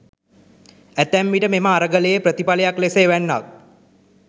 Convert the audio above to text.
ඇතැම් විට මෙම අරගලයේ ප්‍රතිඵලයක් ලෙස එවැන්නක්